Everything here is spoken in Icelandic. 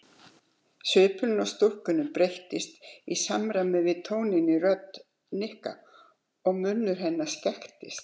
Svipurinn á stúlkunni breyttist í samræmi við tóninn í rödd Nikka og munnur hennar skekktist.